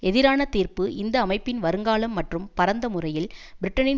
எதிரான தீர்ப்பு இந்த அமைப்பின் வருங்காலம் மற்றும் பரந்த முறையில் பிரிட்டனின்